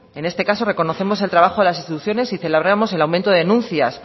en este caso reconocemos el trabajo de las instituciones y celebramos el aumento de denuncias